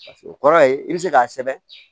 Paseke o kɔrɔ ye i bɛ se k'a sɛbɛn